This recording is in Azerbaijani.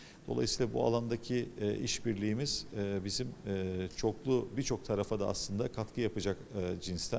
Beləliklə, bu sahədəki eee əməkdaşlığımız eee bizim eee çoxlu, bir çox tərəfə də əslində qatqı edəcək eee növdəndir.